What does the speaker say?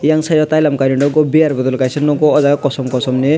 eyang side o tailom kainoi nogo beer bottle bo kaisa nogo o jaga kosom kosom ni.